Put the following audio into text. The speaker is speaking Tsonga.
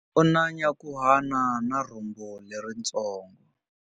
U na nyankhuhana na rhumbu leritsongo.